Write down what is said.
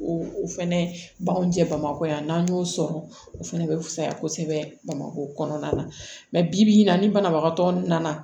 O o fɛnɛ b'anw jɛ bamakɔ yan n'an y'o sɔrɔ o fɛnɛ be fusaya kosɛbɛ bamako kɔnɔna na bi bi in na ni banabagatɔ nana